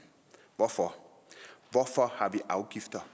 hvorfor har vi afgifter